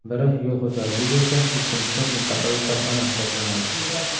Biri yo‘l xo‘jaligi bo‘lsa, ikkinchisi mintaqaviy korxona hisoblanadi.